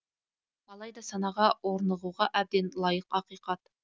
алайда санаға орнығуға әбден лайық ақиқат